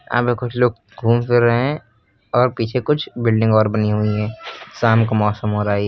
यहां में कुछ लोग घूम फिर रहे हैं और पीछे कुछ बिल्डिंग और बनी हुई हैं। शाम का मौसम हो रहा है ये।